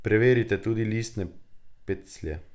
Preverite tudi listne peclje.